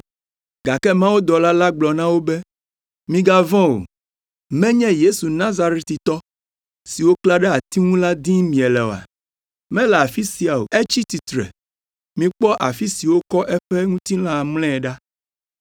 Gake mawudɔla la gblɔ na wo be, “Migavɔ̃ o. Menye Yesu Nazaretitɔ, si woklã ɖe ati ŋu la dim miele oa? Mele afi sia o, etsi tsitre. Mikpɔ afi si wokɔ eƒe ŋutilã mlɔe ɖa.